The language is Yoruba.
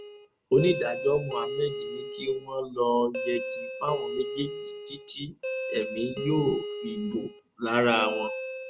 onídàájọ́ mohammed ni kí wọ́n lọ́ọ́ yẹgi fáwọn méjèèjì títí èmi yóò fi bò lára wọn